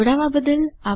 જોડાવા બદ્દલ આભાર